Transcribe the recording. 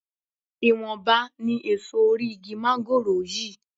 Ìwọ̀nba ni èso orí igi máńgòrò yìí